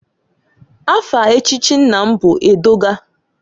Afa echichi nna m bụ Edọga.